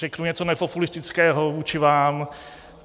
Řeknu něco nepopulistického vůči vám.